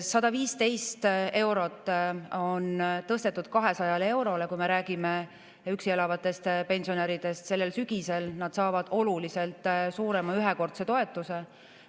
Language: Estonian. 115 eurot on tõstetud 200 eurole, kui me räägime üksi elavatest pensionäridest, sellel sügisel nad saavad oluliselt suurema ühekordse toetuse.